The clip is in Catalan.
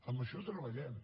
en això treballem